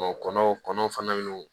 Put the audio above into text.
kɔnɔw kɔnɔw fana n'u